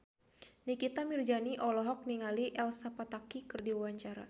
Nikita Mirzani olohok ningali Elsa Pataky keur diwawancara